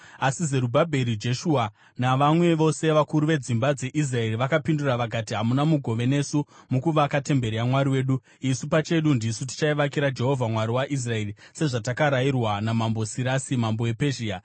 Asi Zerubhabheri, Jeshua navamwe vose vakuru vedzimba dzeIsraeri vakapindura vakati, “Hamuna mugove nesu mukuvaka temberi yaMwari wedu. Isu pachedu ndisu tichaivakira Jehovha, Mwari waIsraeri, sezvatakarayirwa naMambo Sirasi, mambo wePezhia.”